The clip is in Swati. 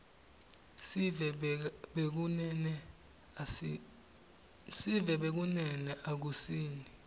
sive bekunene akusini